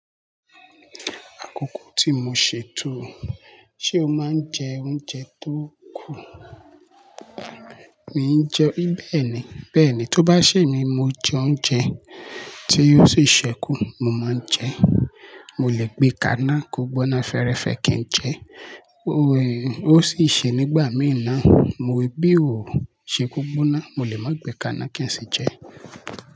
Àkókò tí mo ṣètò, ṣé o máa ń jẹ oúnjẹ tó kù? Mi jẹ bẹ́ẹ̀ni, bẹ́ẹ̀ni, tó bá ṣè mí, mo jẹ oúnjẹ tí o sì ṣẹ́kù, mo máa ń jẹ. Mo lè gbé kàná kò gbọ́ná fẹẹrẹfẹẹ kí n jẹ, ó sì ṣẹ nígbà mì na, mo wí bí ò ṣe kò gbọ́ná, mo lè má gbé kàná kí n sì jẹ.